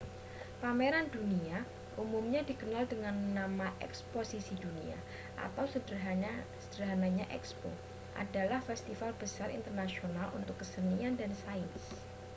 pameran dunia umumnya dikenal dengan nama eksposisi dunia atau sederhananya ekspo adalah festival besar internasional untuk kesenian dan sains